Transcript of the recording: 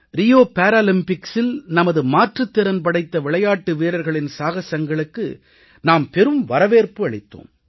Rio பாராலிம்பிக்ஸில் நமது மாற்றுத் திறன் படைத்த விளையாட்டு வீரர்களின் சாகசங்களுக்கு நாம் பெரும் வரவேற்பு அளித்தோம்